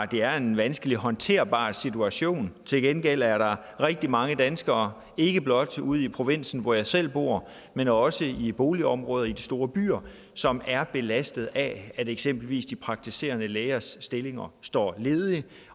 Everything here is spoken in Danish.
det er en vanskelig håndterbar situation til gengæld er der rigtig mange danskere ikke blot ude i provinsen hvor jeg selv bor men også i boligområder i de store byer som er belastet af at eksempelvis de praktiserende lægers stillinger står ledige